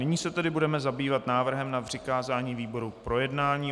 Nyní se tedy budeme zabývat návrhem na přikázání výborům k projednání.